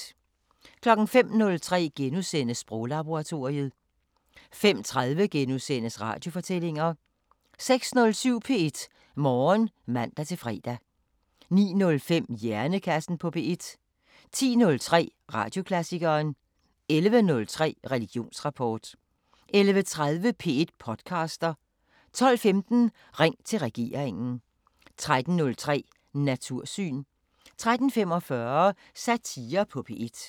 05:03: Sproglaboratoriet * 05:30: Radiofortællinger * 06:07: P1 Morgen (man-fre) 09:05: Hjernekassen på P1 10:03: Radioklassikeren 11:03: Religionsrapport 11:30: P1 podcaster 12:15: Ring til regeringen 13:03: Natursyn 13:45: Satire på P1